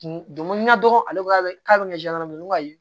Donko n ka dɔgɔnɔ k'a bɛ kɛ ne ko